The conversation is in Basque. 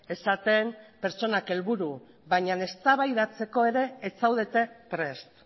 esaten pertsonak helburu baina eztabaidatzeko ere ez zaudete prest